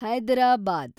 Hyderabad